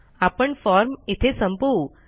आपण फॉर्म इथे संपवू